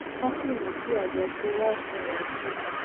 ká sì mú kí àjọṣe wa sunwòn sí i